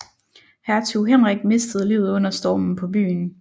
Hertug Henrik mistede livet under stormen på byen